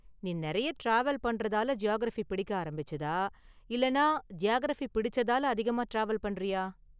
நீ நிறைய டிராவல் பண்றதால ஜியாகிரஃபி பிடிக்க ஆரம்பிச்சதா, இல்லைன்னா ஜியாகிரஃபி பிடிச்சதால அதிகமா டிராவல் பண்றியா?